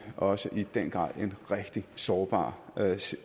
også i den grad i en rigtig sårbar